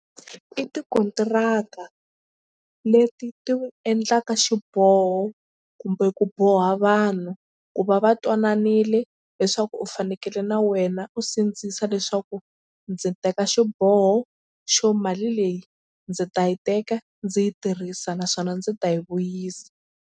I tikontiraka leti ti endlaka xiboho kumbe ku boha vanhu ku va va twananile leswaku u fanekele na wena u sindzisa leswaku ndzi teka xiboho xo mali leyi ndzi ta yi teka ndzi yi tirhisa naswona ndzi ta yi vuyisa.